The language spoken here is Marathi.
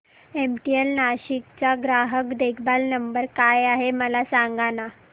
एमटीएनएल नाशिक चा ग्राहक देखभाल नंबर काय आहे मला सांगाना